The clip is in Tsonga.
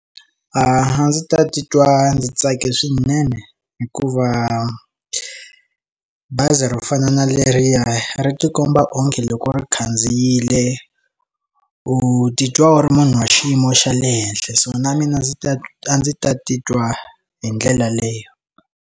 A ndzi ta titwa ndzi tsakile swinene hikuva bazi ro fana na leriya ri ti komba onge loko ri khandziyile u titwa u ri munhu wa xiyimo xa le henhla so na mina ndzi ta a ndzi ta titwa hi ndlela leyo.